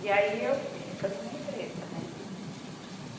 E aí, eu fui ficando uma empresa, né?